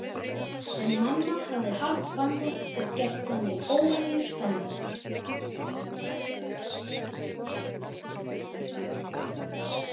Sem mamma hafði harðbannað og gert þannig óhemju spennandi.